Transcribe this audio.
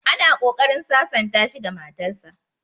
Ana ƙoƙarin sasanta shi da matar sa